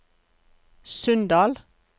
Sunndal